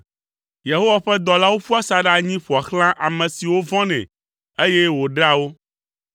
Yehowa ƒe dɔlawo ƒua asaɖa anyi ƒoa xlã ame siwo vɔ̃nɛ, eye wòɖea wo.